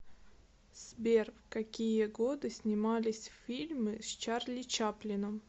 сбер в какие годы снимались фильмы с чарли чаплином